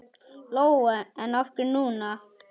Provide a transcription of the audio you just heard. Lóa: En af hverju núna?